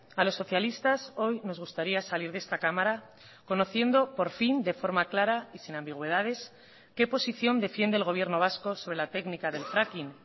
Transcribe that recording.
a los socialistas hoy nos gustaría salir de esta cámara conociendo por fin de forma clara y sin ambigüedades qué posición defiende el gobierno vasco sobre la técnica del fracking